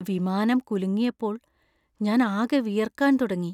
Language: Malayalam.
വിമാനം കുലുങ്ങിയപ്പോൾ ഞാനാകെ വിയർക്കാൻ തുടങ്ങി.